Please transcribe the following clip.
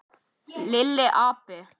Lilli api!